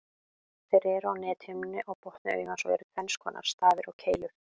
Þeir eru á nethimnunni á botni augans og eru tvenns konar, stafir og keilur.